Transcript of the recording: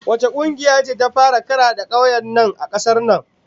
Wace kungiyar ce ta fara karade kowane kauye a kasar nan?